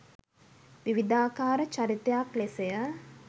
විවිධාකාර චරිතයක් ලෙසය